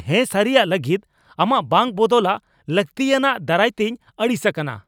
ᱦᱮᱸᱥᱟᱹᱨᱤᱭᱟᱜ ᱞᱟᱹᱜᱤᱫ ᱟᱢᱟᱜ ᱵᱟᱝ ᱵᱚᱫᱚᱞᱟᱜ ᱞᱟᱹᱠᱛᱤᱭᱟᱱᱟᱜ ᱫᱟᱨᱟᱭᱛᱤᱧ ᱟᱹᱲᱤᱥ ᱟᱠᱟᱱᱟ ᱾